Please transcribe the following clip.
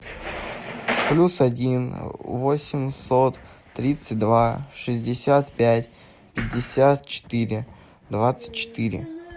плюс один восемьсот тридцать два шестьдесят пять пятьдесят четыре двадцать четыре